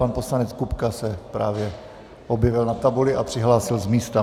Pan poslanec Kupka se právě objevil na tabuli a přihlásil z místa.